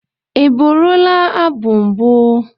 Ị bụrụla abụ mbụ?